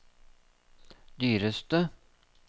dyreste